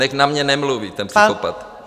Nechť na mě nemluví ten psychopat.